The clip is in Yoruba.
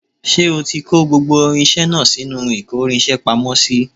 Ṣé o ti kò gbogbo irinṣẹ́ náà sínú ìkórinṣẹ́ pamọ́ sí